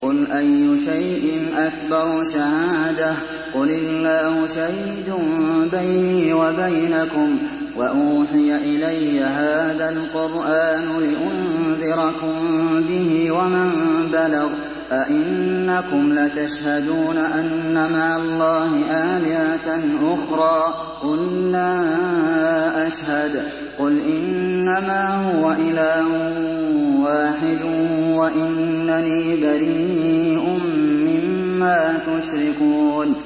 قُلْ أَيُّ شَيْءٍ أَكْبَرُ شَهَادَةً ۖ قُلِ اللَّهُ ۖ شَهِيدٌ بَيْنِي وَبَيْنَكُمْ ۚ وَأُوحِيَ إِلَيَّ هَٰذَا الْقُرْآنُ لِأُنذِرَكُم بِهِ وَمَن بَلَغَ ۚ أَئِنَّكُمْ لَتَشْهَدُونَ أَنَّ مَعَ اللَّهِ آلِهَةً أُخْرَىٰ ۚ قُل لَّا أَشْهَدُ ۚ قُلْ إِنَّمَا هُوَ إِلَٰهٌ وَاحِدٌ وَإِنَّنِي بَرِيءٌ مِّمَّا تُشْرِكُونَ